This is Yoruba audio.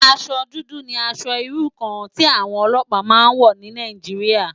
Aṣò dùdù ni ãṣò irú kàn ti áwòn òlòpá má n wò ni Nàijiriá